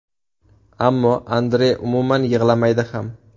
Ammo Andrey umuman yig‘lamaydi ham.